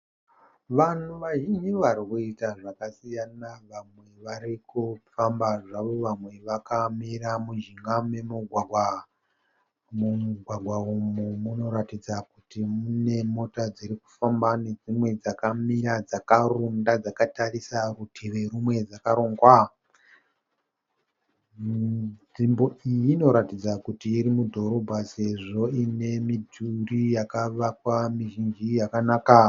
Vanhu vazhinji vari kuita zvakasiyana. Vamwe vari kufamba zvavo vamwe vakamira muzvikamu nemumugwagwa. Mumugwagwa umu munoratidza kuti mune mota dziri kufamba nedzimwe dzakamira dzakarunda dzakatarisa rutivi rumwe dzakarongwa. Nzvimbo iyi inoratidza kuti iri mudhorobha sezvo ine mituri yakavakwa mizhinji yakanaka.